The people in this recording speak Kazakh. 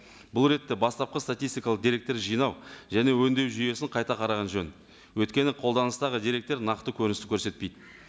бұл ретте бастапқы сатитстикалық деректер жинау және өңдеу жүйесін қайта қараған жөн өйткені қолданыстағы деректер нақты көріністі көрсетпейді